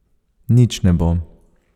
Nič ne bo.